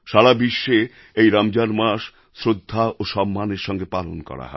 সারা বিশ্বে এই রমজান মাস শ্রদ্ধা ও সম্মানের সঙ্গে পালন করা হয়